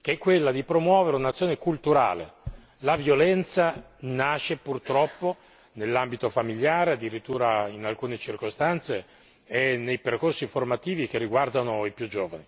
che è quella di promuovere un'azione culturale la violenza nasce purtroppo nell'ambito familiare, addirittura in alcune circostanze è nei percorsi formativi che riguardano i più giovani